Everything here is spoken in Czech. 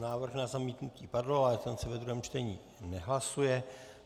Návrh na zamítnutí padl, ale ten se ve druhém čtení nehlasuje.